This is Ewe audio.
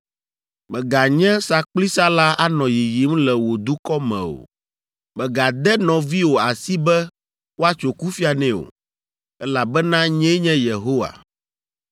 “ ‘Mèganye sakplisala anɔ yiyim le wò dukɔ me o. “ ‘Mègade nɔviwò asi be woatso kufia nɛ o, elabena nyee nye Yehowa.